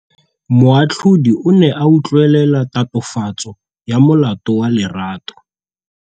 Moatlhodi o ne a utlwelela tatofatsô ya molato wa Lerato.